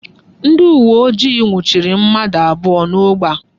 Ndị uwe ojii nwuchiri mmadụ abụọ n'ógbè a.